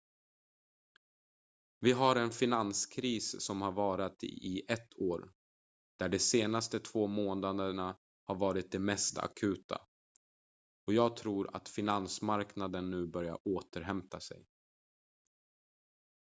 vi har en finanskris som har varat i ett år där de senaste två månaderna har varit de mest akuta och jag tror att finansmarknaderna nu börjar återhämta sig